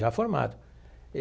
Já formado.